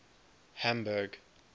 hamburg